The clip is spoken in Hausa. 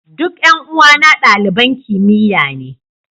Duk 'yan uwana daliban kimiyya ne.